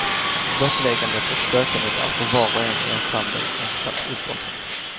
Blottläggandet och sökandet är för var och en i ensemblen ett slags uppoffring.